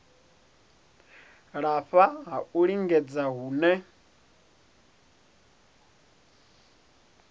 lafha ha u lingedza hune